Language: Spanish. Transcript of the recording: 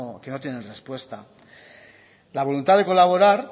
que no tienen respuesta la voluntad de colaborar